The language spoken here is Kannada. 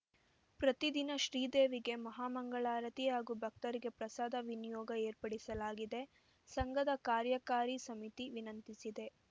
ಪ್ರತಿದಿನ ಶ್ರೀದೇವಿಗೆ ಮಹಾಮಂಗಳಾರತಿ ಹಾಗೂ ಭಕ್ತರಿಗೆ ಪ್ರಸಾದ ವಿನಿಯೋಗ ಏರ್ಪಡಿಲಾಗಿದೆ ಸಂಘದ ಕಾರ್ಯಕಾರಿ ಸಮಿತಿ ವಿನಂತಿಸಿದೆ